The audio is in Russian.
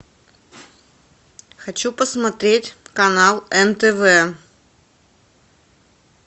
хочу посмотреть канал нтв